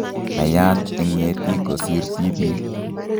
Naiyat eng' ng'etik kosir tibik